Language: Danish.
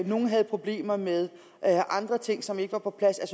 nogle havde problemer med andre ting som ikke var på plads